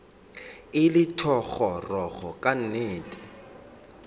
e le thogorogo ka nnete